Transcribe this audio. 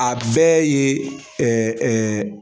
A bɛɛ ye